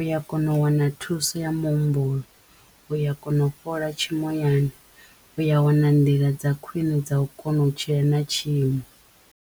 uya kona u wana thuso ya muhumbulo, uya kona u fhola tshimoyani, uya wana nḓila dza khwiṋe dza u kona u tshila na tshiimo.